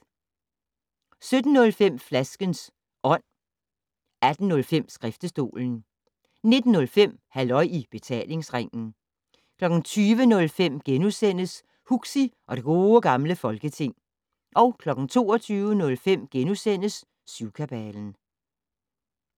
17:05: Flaskens Ånd 18:05: Skriftestolen 19:05: Halløj i Betalingsringen 20:05: Huxi og det Gode Gamle Folketing * 22:05: Syvkabalen *